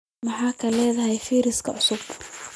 Maxaad ka leedahay fayraska cusub?